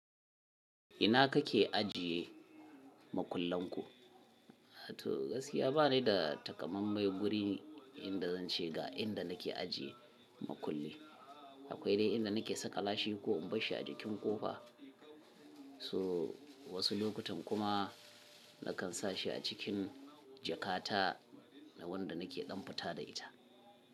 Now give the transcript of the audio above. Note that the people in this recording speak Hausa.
Ina kake ajiye makullenku? To gaskiya ba ni da takamamai guri inda zan ce ga inda nake ajiye makulli. Akwai dai inda nake saka lashi ko in bar shi a jikin kofa. So wasu lokutan kuma nakan sa shi a cikin jakata wanda nake damfita da ita.